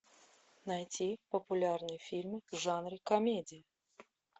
найти популярные фильмы в жанре комедия